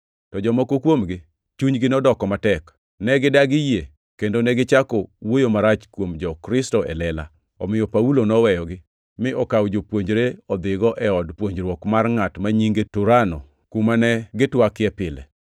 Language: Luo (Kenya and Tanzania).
To jomoko kuomgi chunygi nodoko matek, ne gidagi yie kendo negichako wuoyo marach kuom jo-Kristo e lela. Omiyo Paulo noweyogi, mi okawo jopuonjre odhigo e od puonjruok mar ngʼat ma nyinge Turano, kuma ne gitwakie pile.